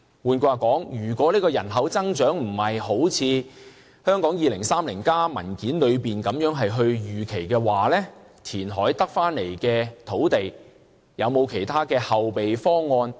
換言之，如果人口增長不是一如《香港 2030+》文件的預期，除了填海得到的土地，政府是否有其他後備方案？